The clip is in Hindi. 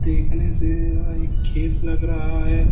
देखने से यह एक खेत लग रहा है।